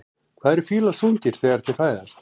Hvað eru fílar þungir þegar þeir fæðast?